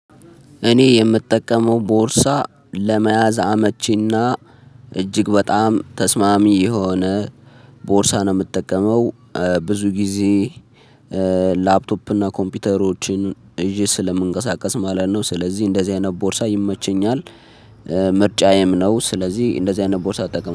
እኔ የምጠቀመው ቦርሳ ለመያዝ አመቺና እጅግ በጣም ተስማሚ የሆነ ቦርሳ ነው። የምትጠቀመው ብዙ ጊዜ ላፕቶፕ እና ኮምፒውተሮችን ይዤ ስለምንቀሳቀስ ማለት ነው። ስለዚህ እንደዚህ አይነት ቦርሳ ይመቸኛል። ምርጫዬም ነው ስለዚህ እንደዚህ አይነት ቦርሳ አጠቀማለው